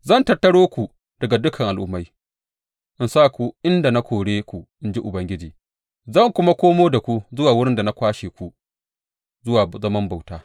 Zan tattaro ku daga dukan al’ummai in sa ku inda na kore ku, in ji Ubangiji, zan kuma komo da ku zuwa wurin da na kwashe ku zuwa zaman bauta.